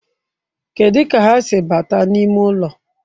Kedu ka ha si bata n'ime ụlọ?